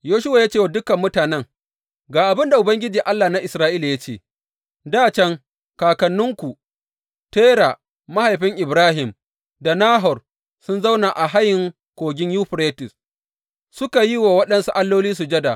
Yoshuwa ya ce wa dukan mutanen, Ga abin da Ubangiji, Allah na Isra’ila ya ce, Dā can, kakanninku, Tera mahaifin Ibrahim, da Nahor sun zauna a hayin Kogin Yuferites suka yi wa waɗansu alloli sujada.